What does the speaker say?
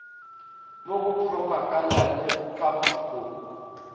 mo go propaganda le papatpo